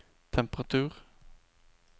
temperatur